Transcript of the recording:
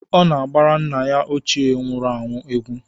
Ọ na-agbara nna ya ochie nwuru anwụ egwu.